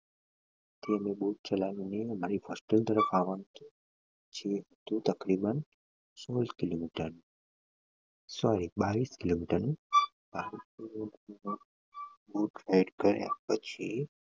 દુર ચલાવી ને અમારી hostel તરફ આવવા ના છીએ તે તકરીબન સોળ કિલોમીટર sorry બાવીસ કિલોમીટર નું બાવીસ કિલોમીટર નું કર્યા પછી